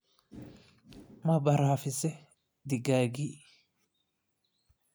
Ma baraafisay digaaggi?